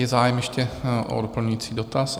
Je zájem ještě o doplňující dotaz?